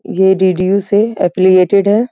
ये D D U से affiliated है।